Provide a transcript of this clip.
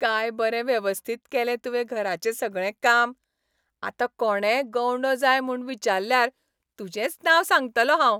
काय बरें वेवस्थीत केलें तुवें घराचें सगळें काम. आतां कोणेय गवंडो जाय म्हूण विचाल्ल्यार तुजेंच नांव सांगतलों हांव.